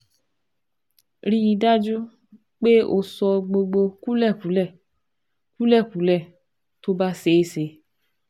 Rí i dájú pé o sọ gbogbo kúlẹ̀kúlẹ̀ kúlẹ̀kúlẹ̀ tó bá ṣeé ṣe